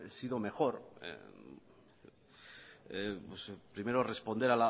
sido mejor primero responder